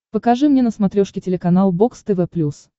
покажи мне на смотрешке телеканал бокс тв плюс